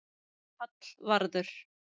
Hallvarður